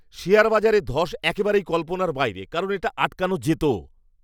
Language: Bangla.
শেয়ার বাজারে ধ্বস একেবারেই কল্পনার বাইরে কারণ এটা আটকানো যেত!